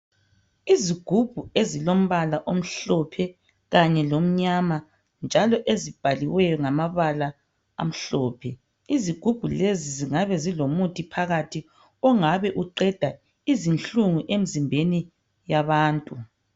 Izigubhu ezilombala omhlophe kanye lomnyama njalo ezibhaliweyo ngamabala amhlophe. Izigubhu lezi zingabe zilomuthi phakathi ongabe uqeda izinhlungu emzimbeni yabantu.